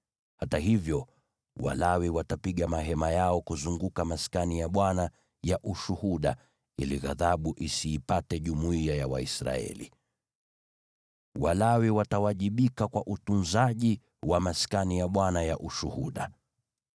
Hata hivyo, Walawi watapiga mahema yao kuzunguka Maskani ya Ushuhuda ili ghadhabu isiipate jumuiya ya Waisraeli. Walawi watawajibika kwa utunzaji wa Maskani ya Ushuhuda.”